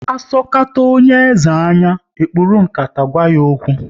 Asokata onye eze anya, e kpuru nkata gwa ya okwu